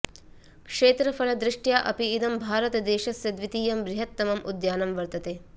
क्षेत्रफलदृष्ट्या अपि इदं भारतदेशस्य द्वितीयं बृहत्तमम् उद्यानं वर्तते